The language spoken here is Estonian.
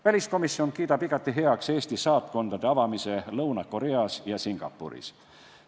Väliskomisjon kiidab igati heaks Eesti saatkondade avamise Lõuna-Koreas ja Singapuris.